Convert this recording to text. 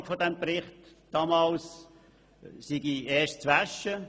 Die Beratung des Berichts sei erst einmal das Waschen.